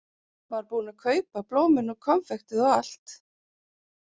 Var búinn að kaupa blómin og konfektið og allt.